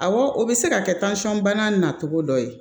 Awɔ o bɛ se ka kɛ bana na cogo dɔ ye